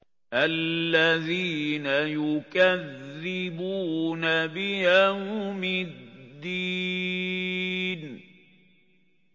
الَّذِينَ يُكَذِّبُونَ بِيَوْمِ الدِّينِ